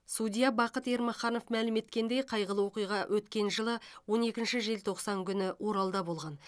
судья бақыт ермаханов мәлім еткендей қайғылы оқиға өткен жылы он екінші желтоқсан күні оралда болған